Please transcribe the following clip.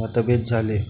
मतभेद झाले